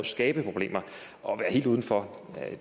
skabe problemer og være helt uden for